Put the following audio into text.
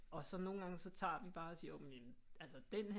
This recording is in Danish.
Og så nogle gange så tager vi bare og siger men altså denne her